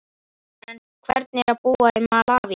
En hvernig er að búa í Malaví?